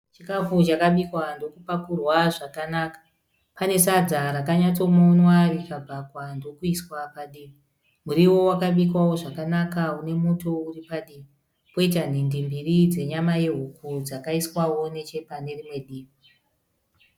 Chikafu chakabikwa ndoku pakurwa zvakanaka. Pane sadza rakanyatsomonwa rikabhakwa ndokuiswa padivi . Muriwo wakabikwawo zvakanaka une muto uri padivi. Poita nhindi mbiri dzenyama yehuku dzakaiswawo neche panerimwe divi.